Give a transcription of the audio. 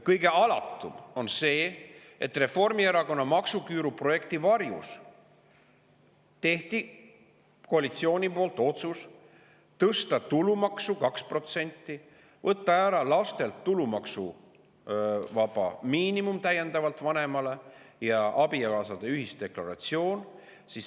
Kõige alatum on see, et Reformierakonna maksuküüru projekti varjus tegi koalitsioon otsuse tõsta tulumaksu 2%, võtta ära laste eest täiendav maksuvaba tulu vanemale ja võtta ära abikaasade ühisdeklaratsioon.